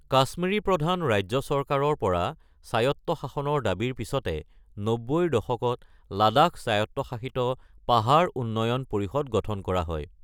কাশ্মীৰী প্ৰধান ৰাজ্য চৰকাৰৰ পৰা স্বায়ত্তশাসনৰ দাবীৰ পিছতে নব্বৈৰ দশকত লাডাখ স্বায়ত্তশাসিত পাহাৰ উন্নয়ন পৰিষদ গঠন কৰা হয়।